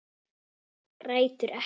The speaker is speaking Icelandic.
Grætur ekki.